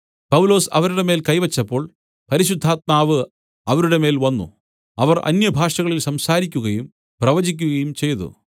പൗലൊസ് അവരുടെ മേൽ കൈവച്ചപ്പോൾ പരിശുദ്ധാത്മാവ് അവരുടെ മേൽ വന്നു അവർ അന്യഭാഷകളിൽ സംസാരിക്കുകയും പ്രവചിക്കയും ചെയ്തു